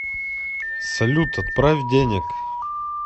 салют отправь денег